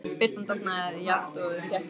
Birtan dofnaði jafnt og þétt í klefanum.